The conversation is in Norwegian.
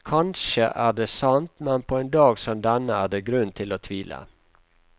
Kanskje er det sant, men på en dag som denne er det grunn til å tvile.